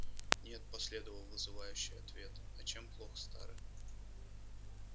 нет последовал вызывающий ответ а чем плох старый